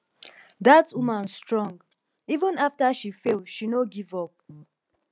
dat woman strong even after she fail she no give up